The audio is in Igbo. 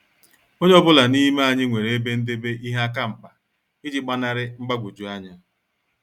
Onye ọ bụla n'ime anyị nwere ebe ndebe ihe akamkpa iji gbanari mgbagwoju anya.